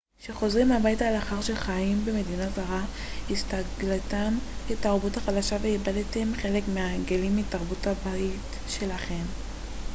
כשחוזרים הביתה לאחר שחייתם במדינה זרה הסתגלתם לתרבות החדשה ואיבדתם חלק מההרגלים מתרבות הבית שלכם